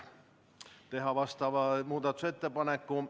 Saab teha vastava muudatusettepaneku.